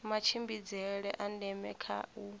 matshimbidzele a ndeme kha u